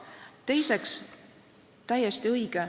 Teiseks, see märkus on täiesti õige.